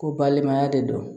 Ko balimaya de don